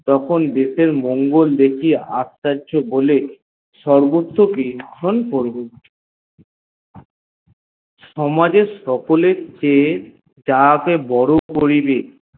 তখন দেশের মঙ্গল বলে সর্বোচ্চ বলবে সমাজে সকলের চেয়ে বড় করিবে